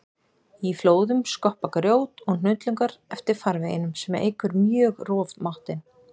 Í flóðum skoppa grjót og hnullungar eftir farveginum sem eykur mjög rofmáttinn.